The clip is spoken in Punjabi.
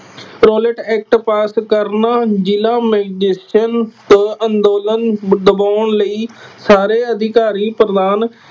ਰੋਅਲੈਟ ਐਕਟ pass ਕਰਨਾ ਜਿਲ੍ਹਾ ਮੈਜਿਸਟਰੇਟ ਅੰਦੋਲਨ ਬ ਦਬਾਉਣ ਲਈ ਸਾਰੇ ਅਧਿਕਾਰੀ ਪ੍ਰਧਾਨ